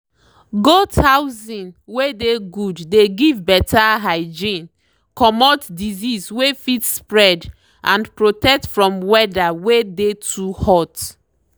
goat housing wey dey good dey give better hygiene comot disease wey fit spread and protect from weather wey dey too hot.